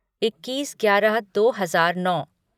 इक्कीस ग्यारह दो हजार नौ